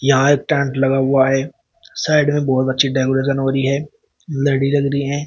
यहां एक टेंट लगा हुआ है साइड में बहुत अच्छी डेकोरेशन हो रही है लड़ी लग रही हैं।